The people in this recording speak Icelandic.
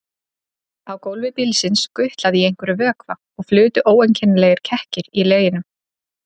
Á gólfi bílsins gutlaði í einhverjum vökva og flutu ókennilegir kekkir í leginum.